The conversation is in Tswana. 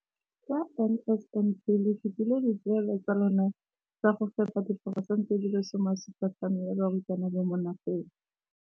Ka NSNP le fetile dipeelo tsa lona tsa go fepa masome a supa le botlhano a diperesente ya barutwana ba mo nageng.